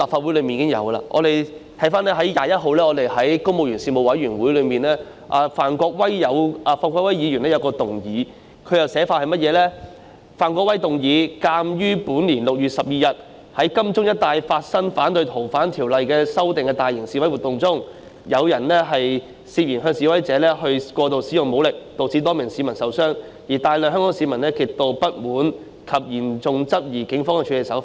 回看本月21日的公務員及資助機構員工事務委員會會議上，范國威議員提出了一項議案，內容是"鑒於本年6月12日在金鐘一帶發生反對《逃犯條例》修訂大型示威活動中，有人涉嫌向示威者過度使用武力，導致多名市民受傷，而大量香港市民極度不滿及嚴重質疑警方的處理手法。